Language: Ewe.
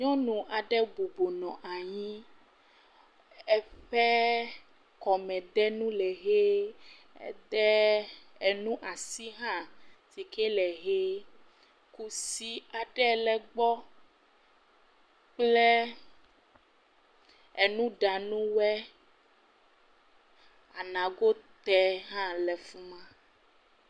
Nyɔnu aɖe bɔbɔ nɔ anyi, eƒe kɔmedenu le ʋi. Ede nu asi hã si ke le ʋi. Kusi aɖe le egbe kplɔ nuɖanuwo. Anagoti hã le fi ma.